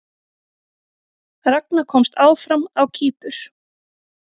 Ragna komst áfram á Kýpur